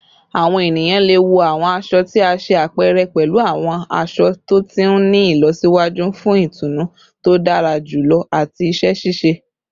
Awọn eniyan le wọ awọn aṣọ ti a ṣe apẹrẹ pẹlu awọn aṣọ to ti ni ilọsiwaju fun itunu to dara julọ ati iṣẹ ṣiṣe